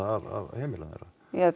af heimilunum já